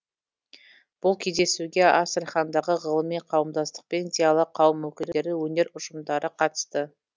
бұл кездесуге астрахандағы ғылыми қауымдастық пен зиялы қауым өкілдері өнер ұжымдары қатысты